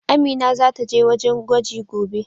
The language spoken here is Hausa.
Amina zata je wajen gwaji gobe.